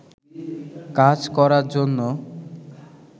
কাজ করার জন্য